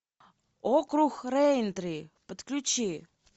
округ рэйнтри подключи